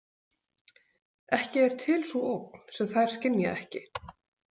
Ekki er til sú ógn sem þær skynja ekki.